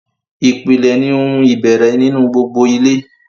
ìpìlẹ̀ ni ohun ìbẹ̀rẹ̀ nínú gbogbo ilé.